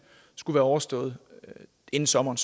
skulle være overstået inden sommeren